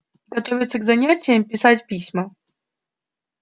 готовиться к занятиям писать письма